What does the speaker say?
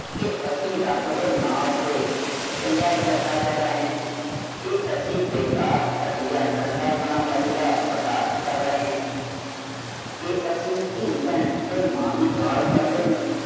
ਕੇ ਅਸੀਂ ਰੱਬ ਦੇ ਨਾਂ ਉੱਤੇ ਚੰਦਾ ਇਕੱਠਾ ਕਰ ਰਹੇ ਹਾਂ ਕੇ ਅਸੀਂ ਬੇਕਾਰ ਘਟੀਆ ਗੰਦਾ ਗਾਣਾ ਵੱਜਦਾ ਬਰਦਾਸ਼ਤ ਕਰ ਰਹੇ ਹਾਂ ਕੇ ਅਸੀਂ ਧੀ ਭੈਣ ਤੇ ਮਾਂ ਦੀ ਗਾਲ੍ਹ ਕੱਢਦੇ ਨੂੰ